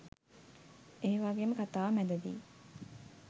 ඒවගේම කතාව මැදදී